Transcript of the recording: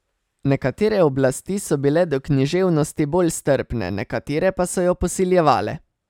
Nekatere oblasti so bile do književnosti bolj strpne, nekatere pa so jo posiljevale.